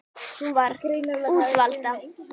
Hún var úrvinda.